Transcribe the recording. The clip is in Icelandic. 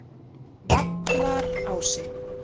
Vallarási